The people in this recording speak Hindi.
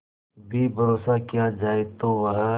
भी भरोसा किया जाए तो वह